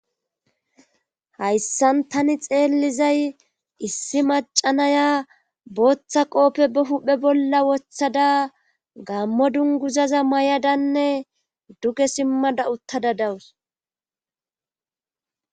Hayssan tani xeellizay issi macanaya booththa qoope ba huphe bolla wothada gammo dunguzaza mayadanne duge simmada uttada dawus.